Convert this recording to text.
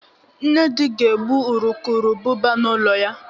Nnedi ga egbu urukurubụba n'ụlọ